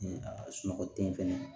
A sunɔgɔ ten fɛnɛ